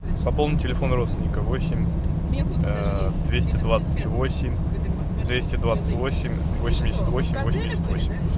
пополнить телефон родственника восемь двести двадцать восемь двести двадцать восемь восемьдесят восемь восемьдесят восемь